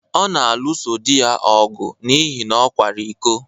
Ọ na-alụso di ya ọgụ n’ihi na ọ kwara iko.